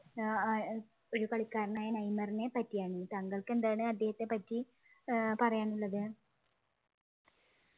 ഏർ ആഹ് ഒരു കളിക്കാരനായ നെയ്മറിനെ പറ്റിയാണ് താങ്കൾക്ക് എന്താണ് അദ്ദേഹത്തെ പറ്റി ഏർ പറയാനുള്ളത്